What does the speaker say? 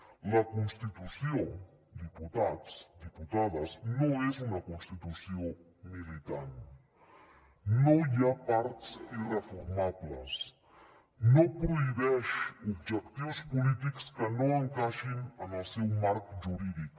la constitució diputats diputades no és una constitució militant no hi ha parts irreformables no prohibeix objectius polítics que no encaixin en el seu marc jurídic